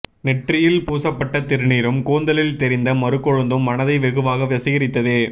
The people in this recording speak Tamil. நெற்றியில் பூசப்பட்ட திருநீறும் கூந்தலில் தெரிந்த மருக்கொழுந்தும் மனதை வெகுவாக வசீகரித்தது